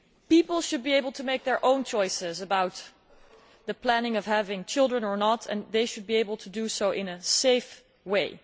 People should be able to make their own choices about planning whether to have children or not and they should be able to do so in a safe way.